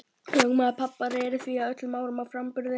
Lögmaður pabba reri að því öllum árum að framburður